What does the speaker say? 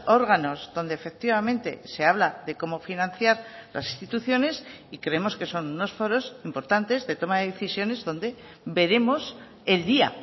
órganos donde efectivamente se habla de cómo financiar las instituciones y creemos que son unos foros importantes de toma de decisiones donde veremos el día